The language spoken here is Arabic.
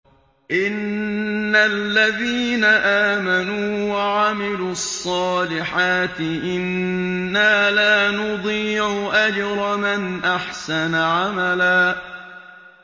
إِنَّ الَّذِينَ آمَنُوا وَعَمِلُوا الصَّالِحَاتِ إِنَّا لَا نُضِيعُ أَجْرَ مَنْ أَحْسَنَ عَمَلًا